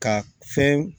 Ka fɛn